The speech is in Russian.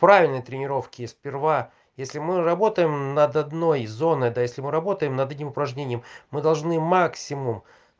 правильные тренировки и сперва если мы работаем над одной зоной да если мы работаем над этим упражнением мы должны максимум